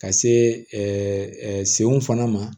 Ka se senw fana ma